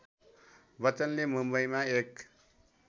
बच्चनले मुम्बईमा एक